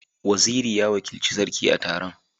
Waziri ya wakilci Sarki a taron.